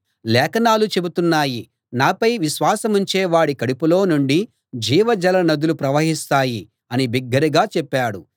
లేఖనాలు చెబుతున్నాయి నాపై విశ్వాసముంచే వాడి కడుపులో నుండి జీవజల నదులు ప్రవహిస్తాయి అని బిగ్గరగా చెప్పాడు